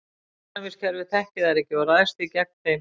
Ónæmiskerfið þekkir þær ekki og ræðst því gegn þeim.